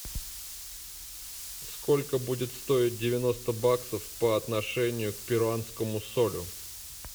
сколько будет стоить девяносто баксов по отношению к перуанскому солю